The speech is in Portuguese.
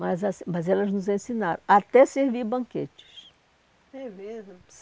Mas assim mas elas nos ensinaram, até servir banquetes. É mesmo?